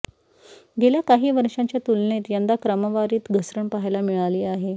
गेल्या काही वर्षांच्या तुलनेत यंदा क्रमवारीत घसरण पहायला मिळाली आहे